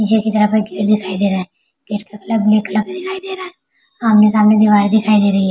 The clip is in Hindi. ये गेट दिखाई दे रहा है गेट का कलर ब्लू कलर दिखाई दे रहा है आमने -सामने दीवार दिखाई दे रही है ।